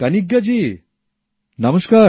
কনিগ্গা জী বানাক্কাম নমস্কার